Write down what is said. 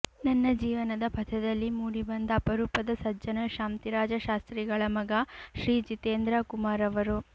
ನನ್ನ ಜೀವನದ ಪಥದಲ್ಲಿ ಮೂಡಿ ಬಂದ ಅಪರೂಪದ ಸಜ್ಜನ ಶಾಂತಿರಾಜ ಶಾಸ್ತ್ರಿಗಳ ಮಗ ಶ್ರೀ ಜಿತೇಂದ್ರ ಕುಮಾರ್ ಅವರು